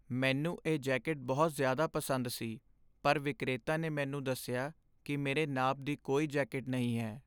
ਮੈਨੂੰ ਇਹ ਜੈਕੇਟ ਬਹੁਤ ਜ਼ਿਆਦਾ ਪਸੰਦ ਸੀ ਪਰ ਵਿਕਰੇਤਾ ਨੇ ਮੈਨੂੰ ਦੱਸਿਆ ਕਿ ਮੇਰੇ ਨਾਪ ਦੀ ਕੋਈ ਜੈਕੇਟ ਨਹੀਂ ਹੈ।